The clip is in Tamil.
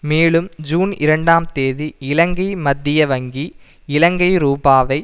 மேலும் ஜூன் இரண்டாம் தேதி இலங்கை மத்திய வங்கி இலங்கை ரூபாவை